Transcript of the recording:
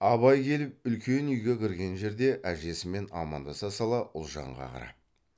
абай келіп үлкен үйге кірген жерде әжесімен амандаса сала ұлжанға қарап